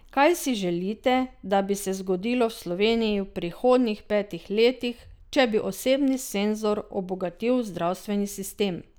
Kaj si želite, da bi se zgodilo v Sloveniji v prihodnjih petih letih, če bi osebni senzor obogatil zdravstveni sistem?